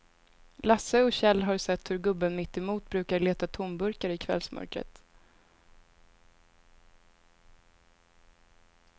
Lasse och Kjell har sett hur gubben mittemot brukar leta tomburkar i kvällsmörkret.